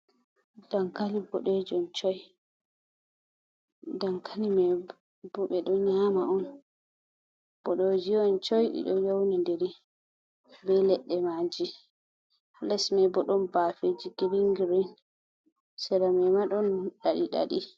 Dankali, mai buɗe ɗum shoi be do nyama on bodojiyon coi dido yauna diri be ledde maji halesmai bodon bafeji giringirin sira ma madon diɗadi